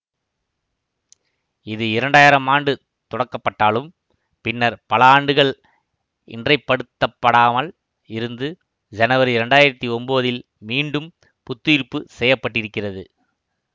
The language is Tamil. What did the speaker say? இது இரண்டாயிரம் ஆண்டு தொடக்கப்பட்டாலும் பின்னர் பல ஆண்டுகள் இன்றைப்படுத்தப்படாமல் இருந்து ஜனவரி இரண்டு ஆயிரத்தி ஒன்பதில் மீண்டும் புத்தியிர்ப்பு செய்ய பட்டிருக்கிறது